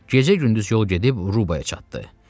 Gecə-gündüz yol gedib Rubaya çatdı.